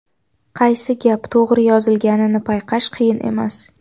Qaysi gap to‘g‘ri yozilganini payqash qiyin emas.